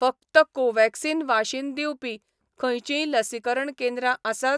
फकत कोव्हॅक्सिन वाशीन दिवपी खंयचींय लसीकरण केंद्रां आसात?